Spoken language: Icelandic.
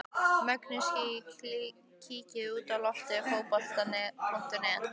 Mögnuð síða Kíkir þú oft á Fótbolti.net?